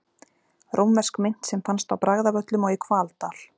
Rómversk mynt sem fannst á Bragðavöllum og í Hvaldal.